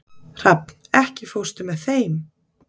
Hrafn, ekki fórstu með þeim?